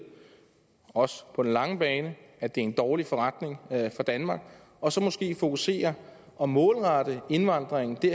også på den lange bane er en dårlig forretning for danmark og så måske fokusere og målrette indvandringen i